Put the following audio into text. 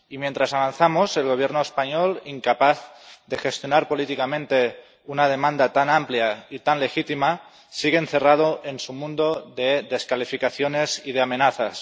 Y, mientras avanzamos, el Gobierno español, incapaz de gestionar políticamente una demanda tan amplia y tan legítima, sigue encerrado en su mundo de descalificaciones y de amenazas.